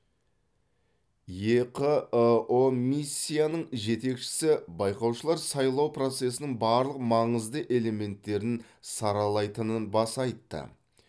еқыұ миссияның жетекшісі байқаушылар сайлау процесінің барлық маңызды элементтерін саралайтынын баса айтты